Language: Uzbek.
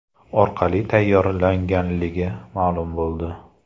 orqali tayyorlanganligi ma’lum bo‘ldi.